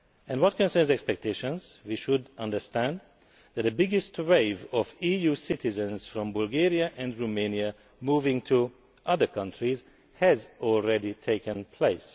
Regarding expectations, we should understand that the biggest wave of EU citizens from Bulgaria and Romania moving to other countries has already taken place.